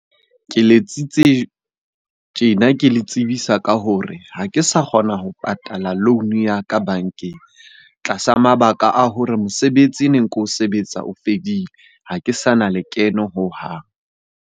Ke letsitse tjena ke le tsebisa ka hore ha ke sa kgona ho patala loan-o ya ka bankeng tlasa mabaka a hore mosebetsi e neng ko o sebetsa o fedile. Ha ke sa na lekeno hohang.